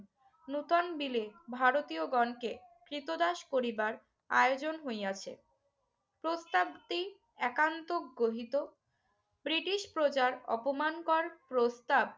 নতুন বিলে ভারতীয়গণকে ক্রীতদাস পরিবার আয়োজন হইয়াছে। প্রস্তাবটি একান্ত গ্রহীত ব্রিটিশ প্রজার অপমানকর প্রস্তাব